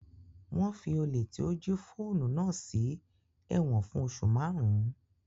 Wọn fí olè tí ó jí fóònù náà sí ẹ̀wọ̀n fún oṣù márùn-ún